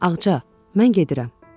Ağca, mən gedirəm.